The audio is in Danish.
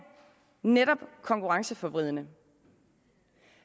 netop konkurrenceforvridende